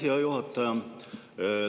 Aitäh, hea juhataja!